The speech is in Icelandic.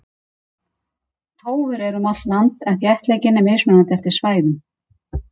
Tófur eru um allt land en þéttleikinn er mismunandi eftir svæðum.